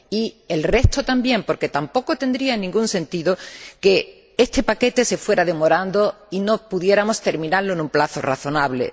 Y el resto también, porque tampoco tendría ningún sentido que este paquete se fuera demorando y no pudiéramos terminarlo en un plazo razonable.